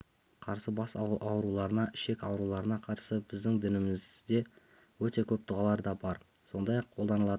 қарсы бас ауруларына ішек ауруларына қарсы біздің дінімізде өте көп дұғалар да бар сондай-ақ қолданатын